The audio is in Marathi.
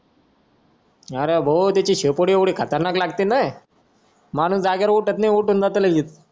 अरे भाऊ तिची शेपूट एवढी खतरनाक लागेते ना माणुस जागेवरून उठूत नाय उठून जातो लगेच